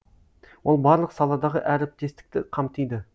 ол барлық саладағы әріптестікті қамтиды